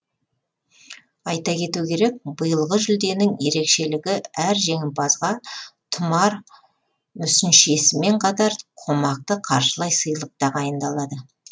айта кету керек биылғы жүлденің ерекшелігі әр жеңімпазға тұмар мүсіншесімен қатар қомақты қаржылай сыйлық тағайындалады